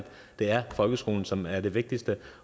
det er folkeskolen som er det vigtigste